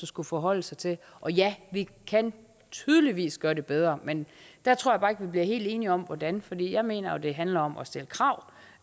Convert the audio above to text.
skulle forholde sig til ja vi kan tydeligvis gøre det bedre men jeg tror bare ikke vi bliver helt enige om hvordan for jeg mener jo det handler om at stille krav